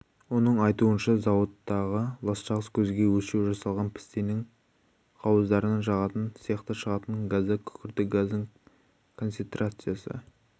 оның айтуынша зауыттағы ластағыш көзге өлшеу жасалған пістенің қауыздарын жағатын цехта шығатын газда күкіртті газдың концентрациясы